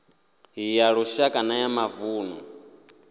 ya lushaka na ya mavunḓu